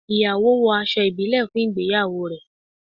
Ìyàwó wo aṣọ ibile fún ìgbéyàwó rẹ